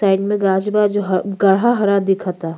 Side में गाँछ बा जो ह गाढा हरा दिखता।